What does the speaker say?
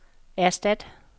erstat